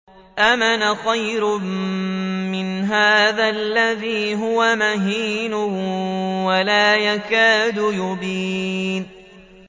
أَمْ أَنَا خَيْرٌ مِّنْ هَٰذَا الَّذِي هُوَ مَهِينٌ وَلَا يَكَادُ يُبِينُ